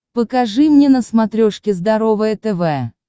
покажи мне на смотрешке здоровое тв